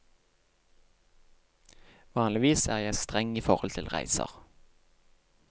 Vanligvis er jeg streng i forhold til reiser.